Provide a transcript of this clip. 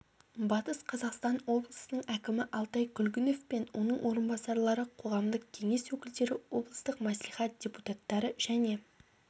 батыс қазақстан облысының әкімі алтай күлгінов пен оның орынбасарлары қоғамдық кеңес өкілдері облыстық мәслихат депутаттары және